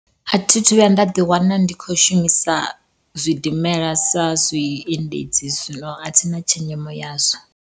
A thi thu vhuya nda ḓi wana ndi kho shumisa zwidimela sa zwiendedzi, zwino a thina tshenzhemo yazwo.